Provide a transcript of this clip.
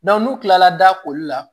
n'u kilala da koli la